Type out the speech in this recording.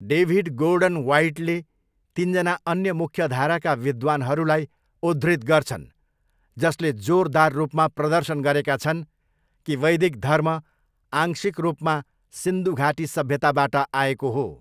David Gordon ह्वाइटले तिनजना अन्य मुख्यधाराका विद्वानहरूलाई उद्धृत गर्छन् जसले 'जोरदार रूपमा प्रदर्शन गरेका छन्' कि वैदिक धर्म आंशिक रूपमा सिन्धु घाटी सभ्यताबाट आएको हो।